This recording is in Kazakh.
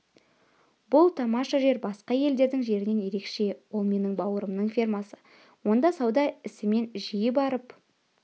бұл тамаша жер басқа елдердің жерінен ерекше ол менің бауырымның фермасы онда сауда ісімен жиі барып